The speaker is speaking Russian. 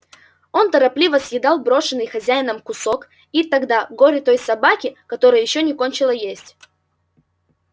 он торопливо съедал брошенный хозяином кусок и тогда горе той собаке которая ещё не кончила есть